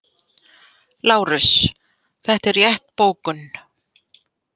LÁRUS: Þetta er rétt bókun.